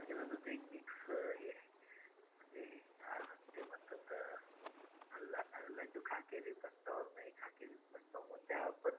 तुझा ऐकून मला असं वाटतंय की म्हणजे तू बाहेर च्या देशामध्ये जाऊन फिरण्या सारख्या गोष्टीवर बोलतोस विश्वास ठेवतोस पण सगळ्यात आधी तुला आपल्या भारताला explore करायचंय बरोबर .